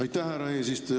Aitäh, härra eesistuja!